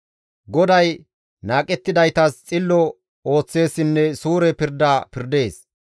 GODAY naaqettidaytas xillo ooththeessinne suure pirda pirdees.